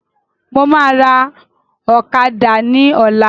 Mo máa ra ọ̀kadà ni ọ̀la